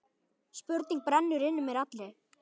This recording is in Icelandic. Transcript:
Spurning brennur inn í mér allri.